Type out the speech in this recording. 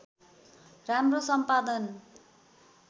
राम्रो सम्पादन